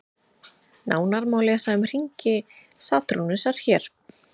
Nánar má lesa um hringi Satúrnusar hér.